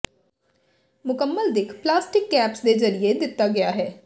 ਮੁਕੰਮਲ ਦਿੱਖ plastic caps ਦੇ ਜ਼ਰੀਏ ਦਿੱਤਾ ਗਿਆ ਹੈ